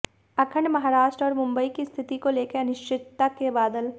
अखंड महाराष्ट्र और मुंबई की स्थिति को लेकर अनिश्चितता के बादल